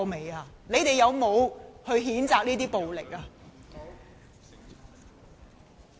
他們有否譴責這些暴力呢？